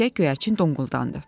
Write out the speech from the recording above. Erkək göyərçin donquldandı.